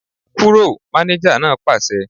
Kúrò! Mánéjà náà pàṣẹ